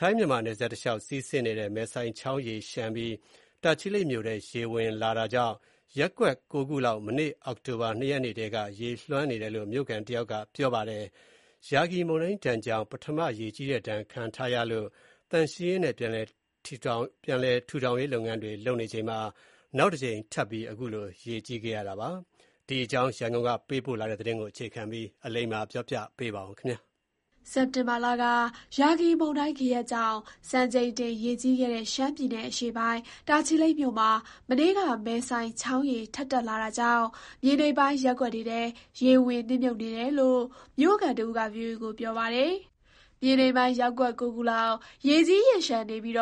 ထိုင်း- မြန်မာနယ်စပ်တလျှောက်စီးဆင်းနေတဲ့ မယ်ဆိုင်ချောင်း ရေလျှံပြီး တာချီလိတ်မြို့ထဲ ရေဝင်တာကြောင့် ရပ်ကွက် ၉ ခုလောက် မနေ့ အောက်တိုဘာ ၂ ရက်ထဲက ရေလွှမ်းနေတယ်လို့ မြို့ခံတယောက်က ပြောပါတယ်။ ရာဂီမုန်တိုင်းဒဏ်ကြောင့် ပထမရေကြီးတဲ့ ဒဏ်ခံထားရလို့ သန့်ရှင်းရေးနဲ့ ပြန်လည်ထောင်ရေးတွေ လုပ်နေချိန်မှာ နောက်တကြိမ် ထပ်ပြီး ရေကြီးနေတာပါ။ ဒီအကြောင်း ရန်ကုန်ကပေးပို့တဲ့သတင်းကို အခြေခံပြီး တင်ပြထားပါတယ်။ စက်တင်ဘာလက ရာဂီမုန်တိုင်းဂယက်ကြောင့် စံချိန်တင် ရေကြီးခဲ့တဲ့ ရှမ်းပြည်နယ် အရှေ့ပိုင်း တာချီလိတ်မြို့မှာ မနေ့က မယ်ဆိုင်ချောင်းရေ ထပ်တက်လာတာကြောင့် မြေနိမ့်ပိုင်း ရပ်ကွက်တွေထဲ ရေဝင်နစ်မြှုပ်နေတယ်လို့ မြို့ခံတဦးက ဗွီအိုအေကို ပြောပါတယ်။ မြေနိမ့်ပိုင်း ရပ်ကွက် ၉ ခုလောက် ရေကြီးရေလျှံနေပြီး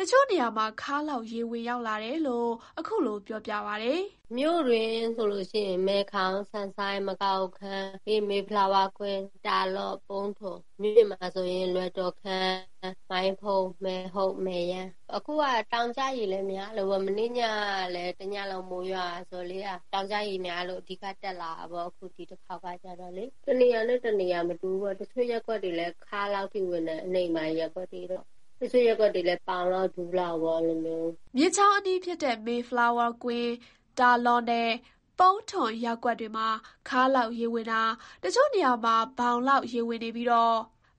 တချို့နေရာမှာ ခါးလောက် ရေဝင်ရောက်လာတယ်လို့ ခုလို ပြောပါတယ်။ “မြို့တွင်းဆိုလို့ရှိရင် မယ်ခေါင်၊ ဆန်ဆိုင်း၊ မကာဟိုခမ်း၊ ပြီးရင် မေဖလားဝါးကွင်း၊ တာလော့၊ ပုန်းထွန်၊ မြို့အပြင်မှာဆိုရင် လွယ်တော်ခမ်း၊ မိုင်းဖုန်း၊ မယ်ဟုတ်၊ မယ်ယန်း။ အခုက တောင်ကျရေလည်း များလို့ပေ့ါ မနေ့ညကလည်း တညလုံးမိုးရွာတယ်ဆိုတော့လေ အဲ့ဒါ တောင်ကျရေများလို့ အဲ့ဒါအဓိက တက်လာတာပေါ့၊ အခု ဒီတခေါက်ကကျတော့လေ။ (ရေတက်တာ)တနေရာနဲ့ တနေရာမတူဘူးပေါ့၊ တချို့ရပ်ကွက်တွေ ခါးလောက်ထိ ရေဝင်တယ်။ အနိမ့်ပိုင်းရပ်ကွက်တွေတော့ တချို့ရပ်ကွက်တွေလည်း ဘောင်လောက် ဒူးလောက်ပေါ့ အဲ့လိုမျိုး။” မြစ်ချောင်းအနီးဖြစ်တဲ့ မေဖလားဝါးကွင်း၊ တာလော့ နဲ့ ပုန်းထွန်ရပ်ကွက်တွေမှာ ခါးလောက်၊ ရေဝင်တာ တချို့နေရာမှာ ဘောင်လောက် ရေဝင်နေပြီး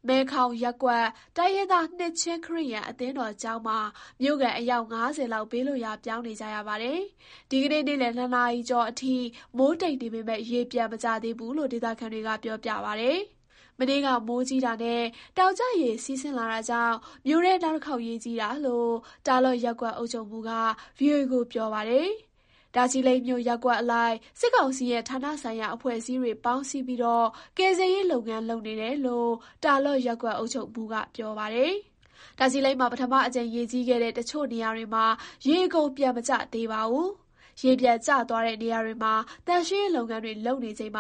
မယ်ခေါင်ရပ်ကွက် တိုင်းရင်းသား နှစ်ခြင်းခရစ်ယာန်အသင်းတော်ကျောင်းမှာ မြို့ခံ အယောက် ၅၀ လောက် ဘေးလွတ်ရာပြောင်းနေကြရပါတယ်။ ဒီနေ့ နေ့လည် ၂ နာရီကျော်အထိ မိုးတိတ်နေပေမယ့် ရေပြန်မကျသေးဘူးလို့ ဒေသခံတွေက ပြောပါတယ်။ မနေ့က မိုးကြီးတာနဲ့ တောင်ကျရေ စီးဆင်းလာတာကြောင့် မြို့ထဲ နောက်တခေါက် ရေကြီးတာလို့ တာလော့ရပ်ကွက်အုပ်ချုပ်မှူးက ဗွီအိုအေကို ပြောပါတယ်။ တာချီလိတ်မြို့ ရပ်ကွက်အလိုက် စစ်ကောင်စီရဲ့ ဌာနဆိုင်ရာအဖွဲ့အစည်းတွေ ပေါင်းစည်းပြီး ကယ်ဆယ်ရေး လုပ်ငန်းလုပ်နေတယ်လို့ တာလော့ရပ်ကွက်အုပ်ချုပ်မှူးက ဆိုပါတယ်။ တာချီလိတ်မှာ ပထမကြိမ်ရေကြီးခဲ့တဲ့ တချို့နေရာတွေမှာ ရေအကုန်ပြန် မကျသေးပါဘူး။ ရေပြန်ကျသွားတဲ့နေရာတွေမှာ သန့်ရှင်းရေးလုပ်ငန်းတွေ လုပ်နေချိန်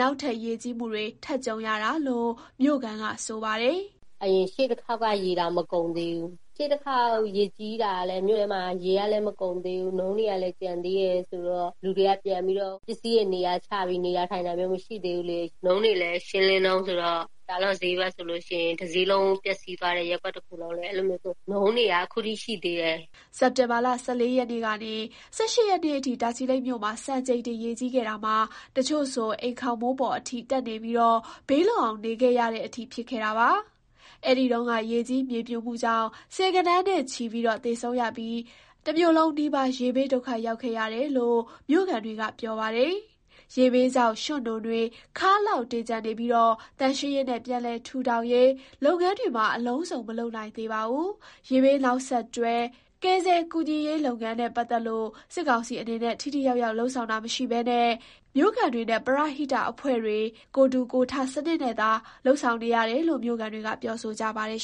နောက်ထပ် ရေကြီးမှုတွေ ထပ်ကြုံရတာလို့ မြို့ခံက ပြောပါတယ်။ “အရင် ရှေ့တခေါက်က ရေတောင်မကုန်သေးဘူး။ ရှေ့တခေါက် ရေကြီးတာလည်း မြို့ထဲမှာ ရေကမကုန်သေးဘူး၊ နွံကလည်း ကျန်သေးတယ်ဆိုတော့ လူတွေက ပြန်ပြီးတော့ ပစ္စည်းတွေ နေရာချပြီး နေတာထိုင်တာမျိုးမရှိသေးဘူး။ နွံတွေလည်း ရှင်းလင်းတုန်းဆိုတော့ တာလော့ဈေးဘက်ဆိုလို့ရှင်ရင် တဈေးလုံးပျက်သွားတယ် ရပ်ကွက်တခုလုံးလည်း နွံတွေက အခုထိရှိသေးတယ်။” စက်တင်ဘာ ၁၄ ကနေ ၁၈ ရက်နေ့အထိ တာချီလိတ်မြို့မှာ စံချိန်တင် ရေကြီးခဲ့တာမှာ တချို့ဆို အိမ်ခေါင်မိုးပေါ်အထိ တက်နေပြီး ဘေးလွတ်အောင် နေခဲ့ရတဲ့အထိ ဖြစ်ခဲ့တာပါ။ အဲဒီတုန်းက ရေကြီးမြေပြိုမှုကြောင့် ဆယ်ဂဏန်းနဲ့ချီ သေဆုံးရပြီး တမြို့လုံးနီးပါး ရေဘေးဒုက္ခရောက်ခဲ့တယ်လို့ မြို့ခံတွေက ပြောပါတယ်။ ရေဘေးကြောင့် ရွှံ့နွံတွေ ခါးလောက် တင်ကျန်နေခဲ့ပြီး သန့်ရှင်းရေးနဲ့ ပြန်လည်ထောင်ထူးရေး လုပ်ငန်းတွေလည်း အလုံစုံမလုပ်နိုင်သေးပါဘူး။ ရေဘေးနောက်ဆက်တွဲ ကယ်ဆယ်ကူညီရေးလုပ်ငန်းနဲ့ပတ်သက်လို့ စစ်ကောင်စီအနေနဲ့ ထိထိရောက်ရောက် လုပ်ဆောင်တာမရှိဘဲ မြို့ခံတွေနဲ့ ပရဟိတအဖွဲ့တွေ ကိုယ်ထူကိုယ်ထစနစ်နဲ့သာ လုပ်ဆောင်နေရတာလို့ မြို့ခံတွေက ပြောဆိုကြပါတယ်